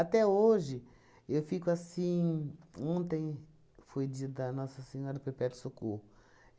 hoje, eu fico assim... Ontem foi dia da Nossa Senhora Perpétuo Socorro.